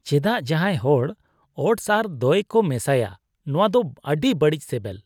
ᱪᱮᱫᱟᱜ ᱡᱟᱦᱟᱸᱭ ᱦᱚᱲ ᱳᱴᱥ ᱟᱨ ᱫᱚᱭ ᱠᱚ ᱢᱮᱥᱟᱭᱟ ? ᱱᱚᱶᱟ ᱫᱚ ᱟᱹᱰᱤ ᱵᱟᱹᱲᱤᱡ ᱥᱮᱵᱮᱞ ᱾